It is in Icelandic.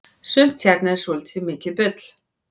sumt hérna er svoltið mikið bull